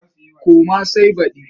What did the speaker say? Koma sai baɗi.